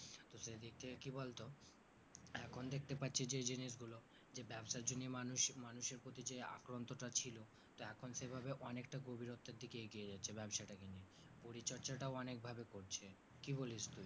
তো সেদিক থেকে কি বলতো এখন দেখতে পাচ্ছি যেই জিনিস গুলো যে ব্যাবসার জন্য মানুষ মানুষের প্রতি যে আক্রন্তটা ছিল এখন সেভাবে অনেকটা গভীরতর দিকে এগিয়ে যাচ্ছে ব্যবসা টা কে নিয়ে পরিচর্চাটাও অনেক ভাবে করছে কি বলিস তুই